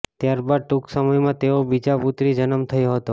ત્યાર બાદ ટૂંક સમયમાં તેઓ બીજા પુત્રી જન્મ થયો હતો